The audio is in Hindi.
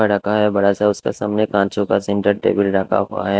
रखा है बड़ा सा उसके सामने कांचों का सेंटर टेबल खा हुआ है।